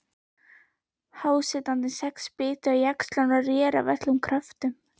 Hásetarnir sex bitu á jaxlinn og réru af öllum kröftum.